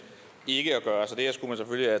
ikke at gøre